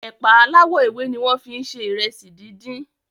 ẹ̀pà aláwò ewé ní wón fí se Ìrẹsì dín dín.